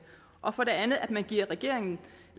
og for det andet at man giver regeringen